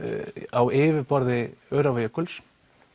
á yfirborði Öræfajökuls